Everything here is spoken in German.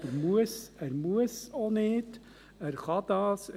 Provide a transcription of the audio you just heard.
Er muss aber auch nicht, er .